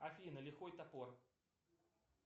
афина лихой топор